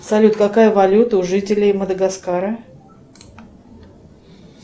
салют какая валюта у жителей мадагаскара